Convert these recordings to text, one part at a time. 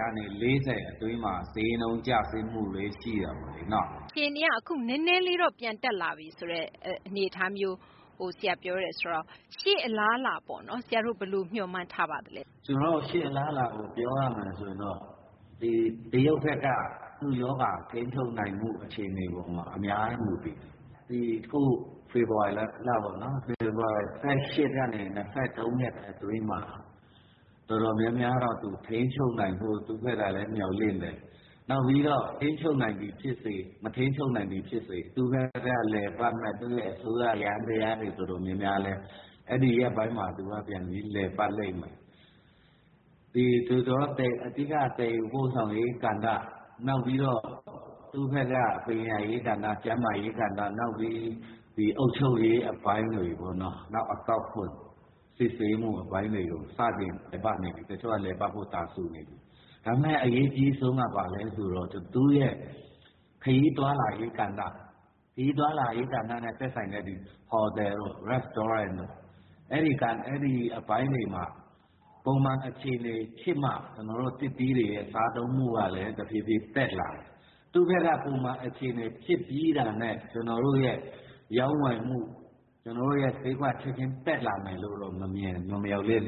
ကနေ ၄၀ အတွင်းမှာ ဈေးနှုန်း ကျဆင်းမှုတွေ ရှိတာပေါ့။ အခြေအနေက အခု နည်းနည်းလေးတော့ ပြန်တက်လာပြီ ဆိုတဲ့ အနေအထားမျိုး ဆရာ ပြောတယ်ဆိုတော့ ရှေ့အလားအလာပေါ့နော် ဘယ်လို မျှော်မှန်းထားပါသလဲ။ ကျနော်တို့ ရှေ့ အလားအလာကို ပြောရမယ်ဆိုရင်တော့ ဒီ တရုတ်ဘက်က သူ့ရောဂါ ထိန်းချုပ်နိုင်မှု အခြေအနေ ပေါ်မှာ အများကြီး မူတည်နေပါတယ်။ ဒီ အခု ဖေဖော်ဝါရီလ ၁၈ ကနေ ၂၃ ရက် အတွင်းမှာ တော်တော်များများတော့ သူ ထိန်းချုပ်နိုင်ဖို့ သူ့ဘက်ကလည်း မျှော်လင့်တယ်။ နောက်ပြီးတော့ ထိန်းချုပ်နိုင်သည် ဖြစ်စေ မထိန်းချုပ်နိုင်သည် ဖြစ်စေ သူ့ဘက်က လည်ပတ်မယ့် သူ့ရဲ့ အစိုးရ ယန္တယားတွေ တော်တော်များများလည်း အဲဒီရက်ပိုင်းမှာ ပြန်ပြီး လည်ပတ်လိမ့်မယ်။ အဓိက သယ်ယူပို့ဆောင်ရေး ကဏ္ဍ၊ နောက်ပြီးတော့ သူ့ဘက်က ပညာရေး ကဏ္ဍ၊ ကျန်းမာရေး ကဏ္ဍ၊ နောက်ပြီး ဒီ အုပ်ချုပ်ရေး အပိုင်းတွေပေါ့နော် နောက် အကောက်ခွန် စစ်ဆေးမှု အပိုင်းတွေကို စတင် လည်ပတ်နေပြီ၊ တချို့က လည်ပတ်ဖို့ တာစူနေပြီ။ ဒါပေမယ့် အရေးအကြီးဆုံးက ဘာလဲ ဆိုတော့ သူ့ရဲ့ ခရီးသွားလာရေး ကဏ္ဍ၊ ခရီးသွားလာရေးနဲ့ သက်ဆိုင်တဲ့ ဟိုတယ်တို့ စားသောက်ဆိုင်တို့ အဲဒီ အပိုင်းတွေမှာ ပုံမှန် အခြေအနေ ဖြစ်မှ ကျနော်တို့ သစ်သီးတွေရဲ့ စားသုံးမှုကလည်း တဖြည်းဖြည်း တက်လာမယ်။ သူ့ဘက်က ပုံမှန် အခြေအနေ ဖြစ်ပြီးတာနဲ့ ကျနော်တို့ရဲ့ ရောင်းဝယ်မှု ကျနော်တို့ရဲ့ ဈေးကွက် ချက်ချင်း တက်လာမယ်လို့တော့ မမျှော်လင့်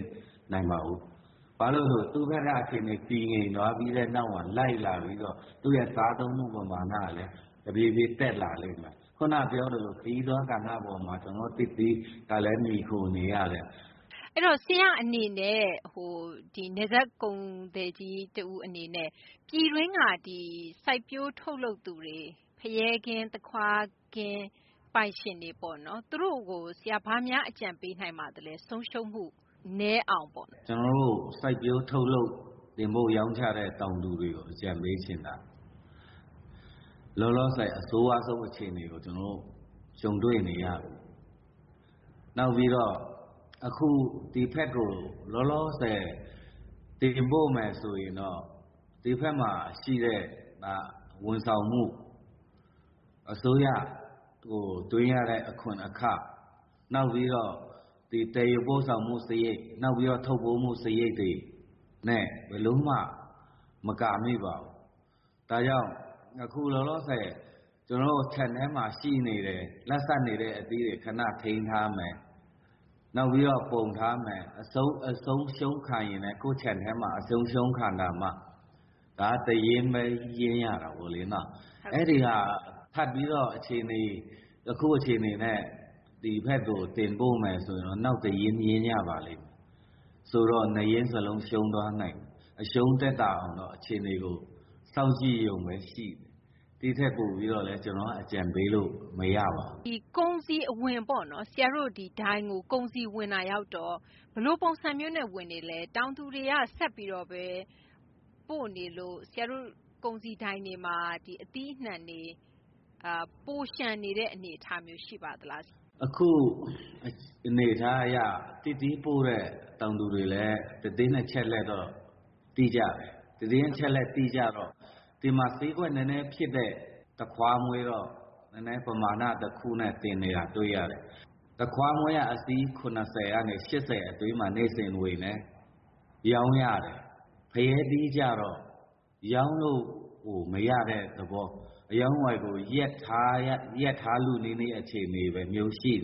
နိုင်ပါဘူး။ ဘာလို့ဆို သူ့ဘက်က အခြေအနေ တည်ငြိမ်သွားပြီးတဲ့ နောက်မှာ လိုက်လာပြီးတော့ သူ့ရဲ့ စားသုံးမှု ပမာဏကလည်း တဖြည်းဖြည်း တက်လာလိမ့်မယ်။ ခုန ပြောသလို ခရီးသွား ကဏ္ဍ အပေါ်မှာ ကျနော်တို့ သစ်သီးကလည်း မှီခိုနေရတယ်။ အဲဒီတော့ ဆရာ့အနေနဲ့ နယ်စပ် ကုန်သည်ကြီး တဦး အနေနဲ့ ပြည်တွင်းက ဒီ စိုက်ပျိုးထုတ်လုပ်သူတွေ ဖရဲခင်း၊ သခွားခင်း ပိုင်ရှင်တွေ ပေါ့နော် သူတို့ကို ဆရာ ဘာများ အကြံပေးနိုင်ပါသလဲ။ ဆုံးရှုံးမှု နည်းအောင်ပေါ့။ ကျနော်တို့ စိုက်ပျိုး ထုတ်လုပ် တင်ပို့ ရောင်းချတဲ့ တောင်သူတွေကို အကြံပေးချင်တာ လောလောဆယ် အဆိုးရွားဆုံး အခြေအနေကို ကျနော်တို့ ကြုံတွေ့နေရပြီ။ နောက်ပြီးတော့ အခု ဒီဘက်ကို လောလောဆယ် တင်ပို့မယ်ဆိုလို့ ရှိရင်တော့ ဒီဘက်မှာ ရှိတဲ့ ဝန်ဆောင်မှု အစိုးရကို သွင်းရတဲ့ အခွန်အခ၊ နောက်ပြီးတော့ ဒီ သယ်ယူပို့ဆောင်မှု စာရိတ်၊ နောက်ပြီးတော့ ထုပ်ပိုးမှု စာရိတ်တွေနဲ့ ဘယ်လိုမှ မကာမိပါဘူး။ ဒါကြောင့် အခု လောလောဆယ် ကျနော်တို့ ခြံထဲမှာ ရှိနေတဲ့ လတ်ဆတ်နေတဲ့ အသီးတွေ ခန ထိန်းထားမယ်၊ နောက်ပြီးတော့ ပုံထားမယ်၊ အဆုံးရှုံးခံရင်လည်း ကိုယ့်ခြံထဲမှာ အဆုံးရှုံးခံတာမှ ဒါက တရင်းဘဲ ရင်းရတာပေါ့လေနော်။ အဲဒီမှာ ထပ်ပြီးတော့ အခု အခြေအနေနဲ့ ဒီဘက်ကို တင်ပို့မယ်ဆိုရင်တော့ နောက်တရင်း ရင်းရပါလိမ့်မယ်။ ဆိုတော့ ၂ ရင်း စလုံး ရှုံးသွားနိုင်တယ်။ အရှုံးသက်သာအောင်တော့ အခြေအနေကို စောင့်ကြည့်ရုံဘဲ ရှိတယ်။ ဒီထက် ပိုပြီးတော့လည်း ကျနော်က အကြံပေးလို့ မရပါဘူး။ ကုန်စည် အဝင်ပေါ့နော်။ ဆရာတို့ ဒိုင်ကို ကုန်စည် ဝင်တာရောက်တော့ ဘယ်လို ပုံစံမျိုးနဲ့ ဝင်နေလဲ။ တောင်သူတွေက ဆက်ပြီးတော့ဘဲ ပို့နေလို့ ဆရာတို့ ကုန်စည်ဒိုင်တွေမှာ အသီးတွေ ပိုလျှံနေတဲ့ အနေအထားမျိုး ရှိပါသလား။ အခု အနေအထား အရ သစ်သီးပို့တဲ့ တောင်သူတွေလည်း သတင်းအချက်အလက်တော့ သိကြတယ်။ သတင်းအချက်အလက် သိကြတော့ ဒီမှာ ဈေးကွက် နည်းနည်းဖြစ်တဲ့ သခွားမွှေးတော့ နည်းနည်း ပမာဏ တခုနဲ့ တင်နေတာ တွေ့ရတယ်။ သခွားမွှွေးက အစီး ၇၀ ကနေ ၈၀ အတွင်း နေ့စဉ် ဝင်တယ်။ ရောင်းရတယ်။ ဖရဲသီးကျတော့ ရောင်းလို့ကို မရတဲ့ သဘော အရောင်းအဝယ်ကို ရပ်ထားလု နီးနီး အခြေအနေမျိုး ရှိ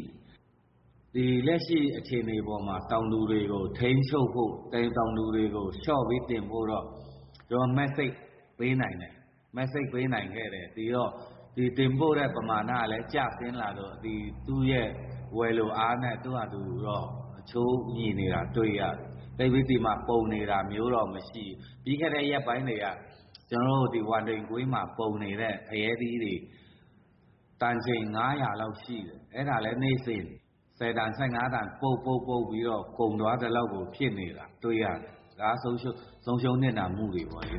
တယ်။ လက်ရှိ အခြေအနေပေါ်မှာ တောင်သူတွေကို ထိန်းချုပ်ဖို့ တောင်သူတွေကို လျှော့ပြီး တင်ပို့တော့ ကျနော်တို့ သတင်းပေးနိုင်ခဲ့တယ်။ ဒီတော့ တင်ပို့တဲ့ ပမာဏကလည်း ကျဆင်းလာတော့ သူ့ရဲ့ ဝယ်လိုအားနဲ့ သူ့ဟာသူတော့ အချိုးညီနေတာ တွေ့ရတယ်။ သိပ်ပြီး ဒီမှာ ပုံနေတာမျိုးတော့ မရှိဘူး။ ပြီးခဲ့တဲ့ ရက်ပိုင်းတွေက ကျနော်တို့ ဒီ ဝမ်တိန် ကွင်းမှာ ပုံနေတဲ့ ဖရဲသီးတွေ တန်ချိန် ၅၀၀ လောက် ရှိတယ်။ အဲဒါလည်း နေ့စဉ် ၁၀ တန် ၁၅ တန် ပုပ်ပြီးတော့ ကုန်သွားသလောက်ကို ဖြစ်နေတာ တွေ့ရတယ်။ ဒါက ဆုံးရှုံး နစ်နာမှုတွေပေါ့လေ